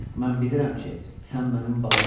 Mən bilirəm ki, sən mənim balamsan.